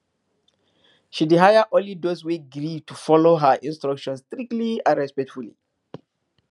she dey hire only those wey gree to follow her instructions strictly and respectfully